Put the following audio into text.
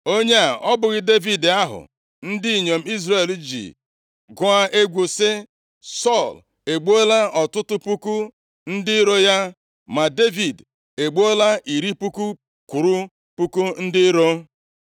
Onye a ọ bụghị Devid ahụ ndị inyom Izrel ji gụọ egwu sị, “ ‘Sọl egbuola ọtụtụ puku ndị iro ya, ma Devid egbuola iri puku kwụrụ puku ndị iro’?”